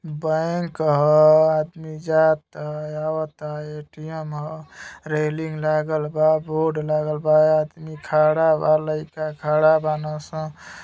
Bank ह आदमी जाता अवता ए.टी.एम ह रेलिंग लागल बा बोर्ड लागल बा आदमी खड़ा बा लइका खड़ा बनसान।